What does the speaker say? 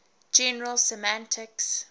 general semantics